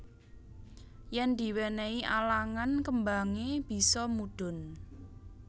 Yen diwenehi alangan kembange bisa mudhun